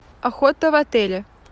охота в отеле